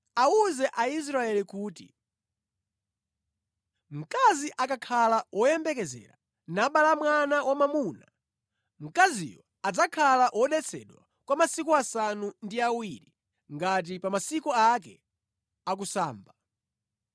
“Awuze Aisraeli kuti, ‘Mkazi akakhala woyembekezera, nabala mwana wa mwamuna, mkaziyo adzakhala wodetsedwa kwa masiku asanu ndi awiri, ngati pa masiku ake akusamba.